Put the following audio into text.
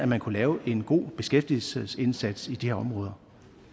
man kunne lave en god beskæftigelsesindsats i de her områder